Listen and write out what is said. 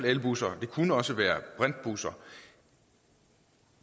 elbusser og det kunne også være brintbusser